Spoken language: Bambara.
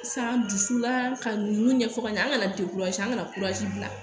San dusu la ka nunnu ɲɛfɔ ka ɲɛ an ka an kana bila